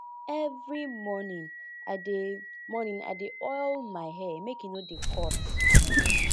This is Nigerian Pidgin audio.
every morning i dey morning i dey oil my hair make e no dey cut